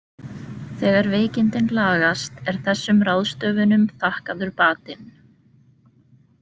Þegar veikindin lagast er þessum ráðstöfunum þakkaður batinn.